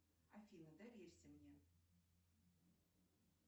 афина доверься мне